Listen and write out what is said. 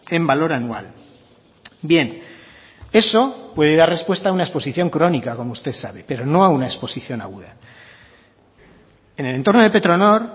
en valor anual bien eso puede dar respuesta a una exposición crónica como usted sabe pero no a una exposición aguda en el entorno de petronor